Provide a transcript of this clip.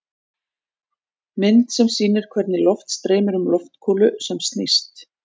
Mynd sem sýnir hvernig loft streymir um golfkúlu sem snýst.